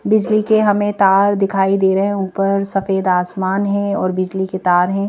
बिजली के हमें तार दिखाई दे रहे हैं ऊपर सफेद आसमान है और बिजली के तार हैं।